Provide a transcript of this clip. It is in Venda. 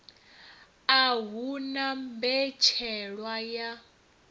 a hu na mbetshelwa ya